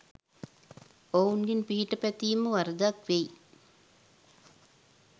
ඔවුන්ගෙන් පිහිට පැතීම වරදක් වෙයි